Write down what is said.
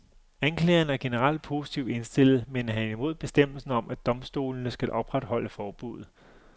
Anklageren er generelt positivt indstillet, men han er imod bestemmelsen om, at domstolene skal opretholde forbudet.